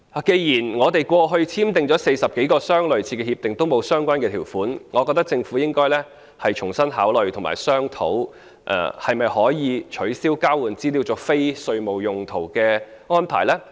既然在過去簽訂的40多項類似的協定內也沒有相關條款，我覺得政府應該重新考慮及商討可否取消交換資料作非稅務用途的安排。